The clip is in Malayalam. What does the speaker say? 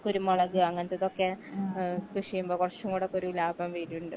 കുരുമുളക് അങ്ങനത്തിക്കൊക്കെ ഏഹ് കൃഷിയുമ്പോ കൊറച്ചും കൂടെക്കൊരു ലാഭം വരിണ്ട്